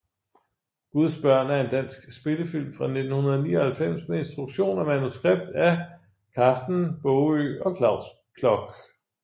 Guds børn er en dansk spillefilm fra 1999 med instruktion og manuskript af Karsten Baagø og Claus Klok